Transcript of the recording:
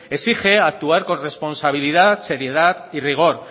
exige actuar con responsabilidad seriedad y rigor